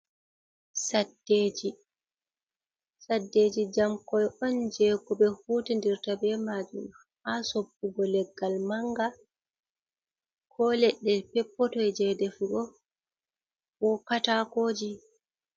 Saddeje: Saddeje jamkoi on je ko ɓe hutindirta be majum ha soppugo leggal manga, ko leɗɗe peppotoi je defugo, ko katakoji.